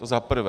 To za prvé.